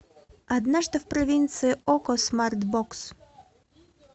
однажды в провинции окко смарт бокс